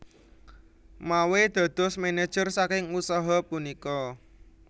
Mawe dados manajer saking usaha punika